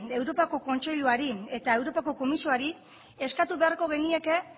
europako kontseiluari eta europako komisioari eskatu beharko genieke